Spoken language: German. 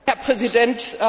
Herr Präsident!